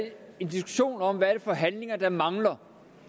en diskussion om hvad det er for handlinger der mangler